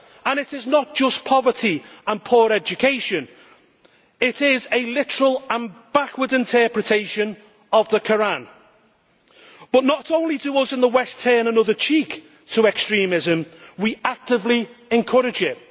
It is not just poverty and poor education, it is a literal and backward interpretation of the Koran. But not only do we in the West turn another cheek to extremism, we actively encourage it.